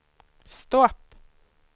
stopp